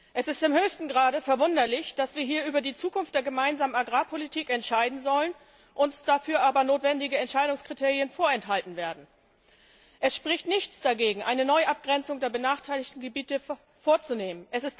Es ist im höchsten Grade verwunderlich, dass wir hier über die Zukunft der gemeinsamen Agrarpolitik entscheiden sollen, uns dafür aber notwendige Entscheidungskriterien vorenthalten werden. Es spricht nichts dagegen, eine Neuabgrenzung der benachteiligten Gebiete vorzunehmen.